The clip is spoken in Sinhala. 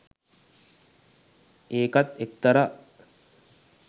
ඒකත් එක්තරා